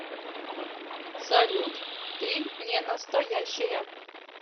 салют ты ненастоящая